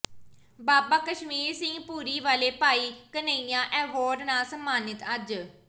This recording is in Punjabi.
ਬਾਬਾ ਕਸ਼ਮੀਰ ਸਿੰਘ ਭੂਰੀ ਵਾਲੇ ਭਾਈ ਘਨੱਈਆ ਐਵਾਰਡ ਨਾਲ ਸਨਮਾਨਿਤ ਅੱਜ